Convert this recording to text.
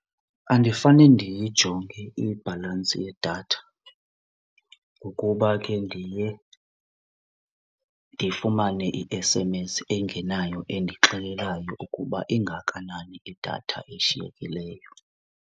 Andifane ndiyijonge ibhalansi yedatha ngokuba ke ndiye ndifumane i-S_M_S engenayo endixelelayo ukuba ingakanani idatha eshiyekileyo.